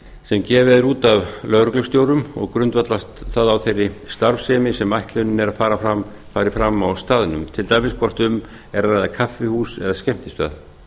sem gefið er út af lögreglustjórum og grundvallast það á þeirri starfsemi sem ætlunin er að fari fram á staðnum til dæmis hvort um er að ræða kaffihús eða skemmtistað